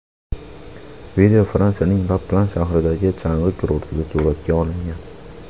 Video Fransiyaning La Plan shahridagi chang‘i kurortida suratga olingan.